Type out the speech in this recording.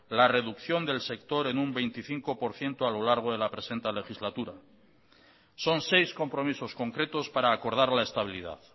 la reducción del sector en un veinticinco por ciento a lo largo de la presente legislatura son seis compromisos concretos para acordar la estabilidad